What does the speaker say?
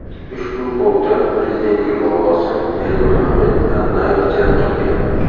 Ushbu polkda prezidentning bobosi Berdimuhamed Annayev jang qilgan.